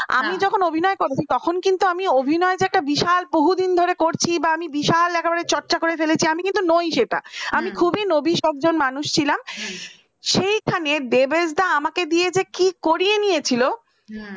হ্যাঁ আমি যখন অভিনয় করেছি তখন কিন্তু আমি অভিনয়টা যে একটা বিশাল বহুদিন ধরে করছি বা আমি বিশাল একেবারে চর্চা করে ফেলেছি আমি কিন্তু নয় সেটা । আমি খুবই নবীস একজন মানুষ ছিলাম সেইখানে দেবেশ দা আমাকে দিয়ে যে কি করিয়ে নিয়েছিল